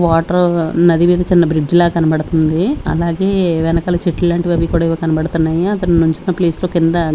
water ఉన్నది మీద చిన్న బ్రిడ్జి లా కనపడుతుంది అలాగే వెనకాల చెట్లు లాంటివి అవి కూడా ఏవో కనబడుతున్నాయి అతను నుంచున ప్లేస్ లో కింద --